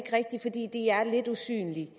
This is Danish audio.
lidt usynlige